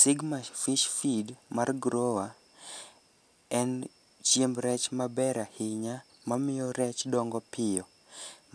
Sigma fish feed mar grower en chiemb rech maber ahinya mamiyo rech dongo piyo,